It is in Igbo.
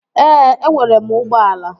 Ee, enwere m ụgbọala